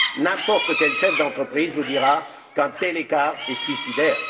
N'importe quel chef d'entreprise vous dira qu'un tel écart est suicidaire.